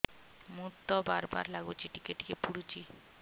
ମୁତ ବାର୍ ବାର୍ ଲାଗୁଚି ଟିକେ ଟିକେ ପୁଡୁଚି